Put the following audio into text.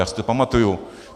Já si to pamatuju.